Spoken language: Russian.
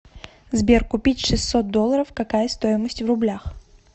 сбер купить шестьсот долларов какая стоимость в рублях